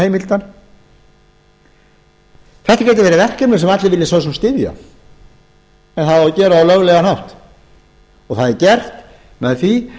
þetta getur verið verkefni sem allir vilja svo sem styðja en það á að gera það á löglegan hátt og það er gert með því